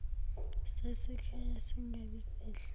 sasekhaya singabi sihle